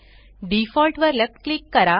default वर left click करा